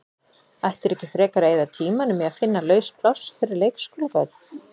Ættirðu ekki frekar að eyða tímanum í að finna laus pláss fyrir leikskólabörn?